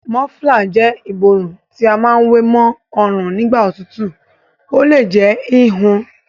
Mọ́flà jẹ́ ìborùn tí a má wé ma ọrùn nígbà òtútù. Ó le jẹ́ híhun.